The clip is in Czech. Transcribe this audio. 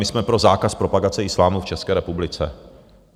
My jsme pro zákaz propagace islámu v České republice.